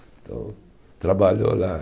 Então, trabalhou lá.